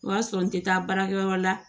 O y'a sɔrɔ n tɛ taa baarakɛyɔrɔ la